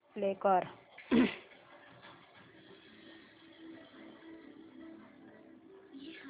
play कर